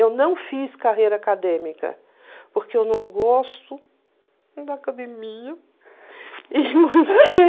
Eu não fiz carreira acadêmica porque eu não gosto da academia.